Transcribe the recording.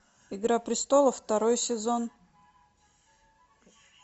игра престолов второй сезон